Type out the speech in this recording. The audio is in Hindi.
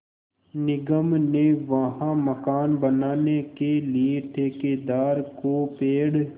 निगम ने वहाँ मकान बनाने के लिए ठेकेदार को पेड़